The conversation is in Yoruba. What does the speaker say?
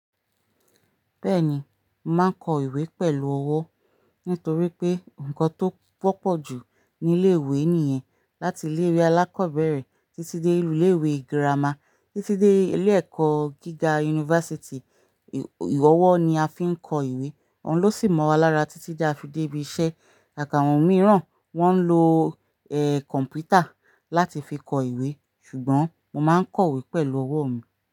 Bẹ́ẹ̀ni, mo màá n kọ ìwé pẹ̀lú ọwọ́ nítorí pé nǹkan tó pọ̀pọ̀ ju nílé ìwé nìyẹn. Láti ilé ìwé alákọ̀ọ́bẹ̀rẹ̀ títí dé ilé ìwé girama títí dé ilé ẹ̀kọ́ gíga university, ọwọ́ ni a fi ń kọ ìwé. Òun ló sì mọ̀ wa lára títí tí a fi dé ibi iṣẹ́. Àkáǹwọ̀n mìíràn wọn ń lo kọ̀npútà láti fi kọ ìwé ṣùgbọ́n mo máa ń kọ ìwé pẹ̀lú ọwọ́ mi.